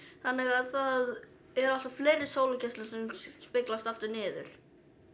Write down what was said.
þannig að það eru alltaf fleiri sólargeislar sem speglast aftur niður